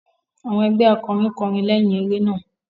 Àwọn ẹgbẹ akọrin kọrin leyin eré náà.